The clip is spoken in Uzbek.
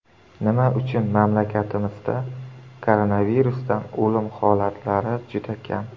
Nima uchun mamlakatimizda koronavirusdan o‘lim holatlari juda kam?